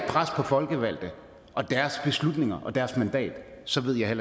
pres på folkevalgte og deres beslutninger og deres mandater så ved jeg